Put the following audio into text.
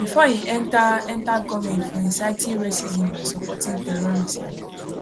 bifor im enta enta goment for inciting racism and supporting terrorism